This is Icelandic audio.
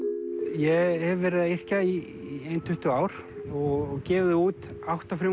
ég hef verið að yrkja í ein tuttugu ár og gefið út átta